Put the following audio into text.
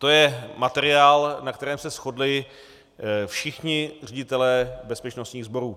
To je materiál, na kterém se shodli všichni ředitelé bezpečnostních sborů.